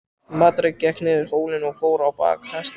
Marteinn gekk niður hólinn og fór á bak hestinum.